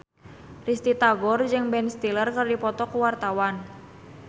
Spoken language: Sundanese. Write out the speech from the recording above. Risty Tagor jeung Ben Stiller keur dipoto ku wartawan